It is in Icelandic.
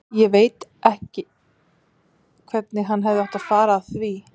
Ekki veit ég hvernig hann hefði átt að fara að því.